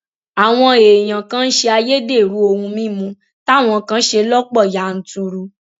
àwọn èèyàn kan ń ṣe ayédèrú ohun mímu táwọn kan ṣe lọpọ yanturu